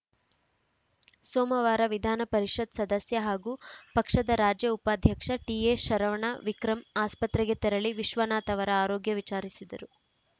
ಸೋಮವಾರ ವಿಧಾನಪರಿಷತ್‌ ಸದಸ್ಯ ಹಾಗೂ ಪಕ್ಷದ ರಾಜ್ಯ ಉಪಾಧ್ಯಕ್ಷ ಟಿಎಶರವಣ ವಿಕ್ರಂ ಆಸ್ಪತ್ರೆಗೆ ತೆರಳಿ ವಿಶ್ವನಾಥ್‌ ಅವರ ಆರೋಗ್ಯ ವಿಚಾರಿಸಿದರು